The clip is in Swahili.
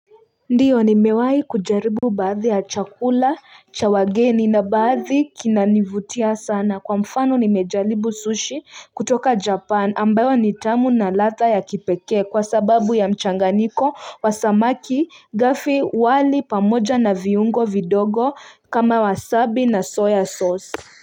Ndiyo nimewai kujaribu baadhi ya chakula cha wageni na baadhi kinanivutia sana kwa mfano nimejaribu sushi kutoka japan ambayo ni tamu na ladha ya kipekee kwa sababu ya mchanganyiko wa samaki gafi wali pamoja na viungo vidogo kama wasabi na soya sauce.